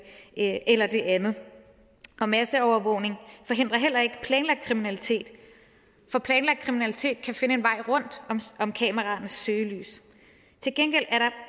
ene eller det andet og masseovervågning forhindrer heller ikke planlagt kriminalitet for planlagt kriminalitet kan finde en vej rundt om kameraernes søgelys til gengæld er der